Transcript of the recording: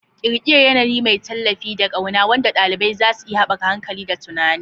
Ƙirƙirar yanayi mai tallafi da ƙauna wanda ɗalibai za su iya haɓaka hankali da tunani.